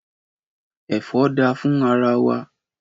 Ẹ̀fọ́ dá fún ara wa